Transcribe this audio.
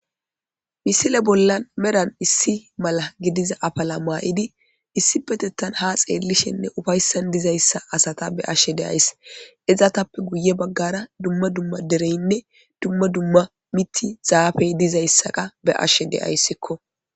misile bollan meran issi mala gidiza afala maa7idi issipetettan ha xeellishenne ufayssan dizayssa asata be7ashshe de7ays ezatappe guye baggara dumma dumma dereynne dumma dumma mithi zaafey dizayssaqa be7ashshe deyayssikko